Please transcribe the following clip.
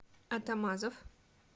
атамазов